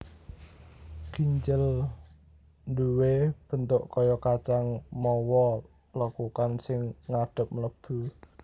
Ginjel duwé bentuk kaya kacang mawa lekukan sing ngadhep mlebu